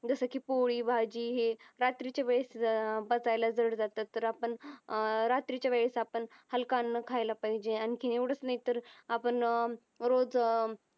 जस की पोळी भाजी हे रात्रीच्या वेळेस अं पचायला जड जात तर आपण अह रात्रीच्या वेळेस आपण हलक अन्न खायला पाहिजे आणखीन एवढंच नाय तर आपण अं रोज अह